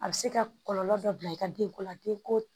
A bɛ se ka kɔlɔlɔ dɔ bila i ka denko la den ko